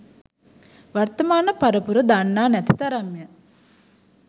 වර්තමාන පරපුර දන්නා නැති තරම්ය